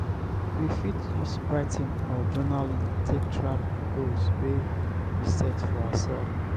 we fit use writing or journaling take track di goals wey we set for ourself